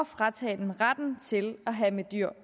fratage dem retten til at have med dyr